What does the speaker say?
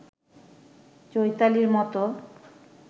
চৈতালির মতো